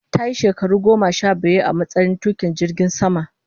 Ta yi shekaru goma sha biyar a matsayin tukin jirgin sama